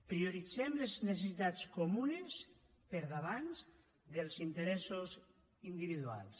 prioritzem les necessitats comunes per davant dels interessos individuals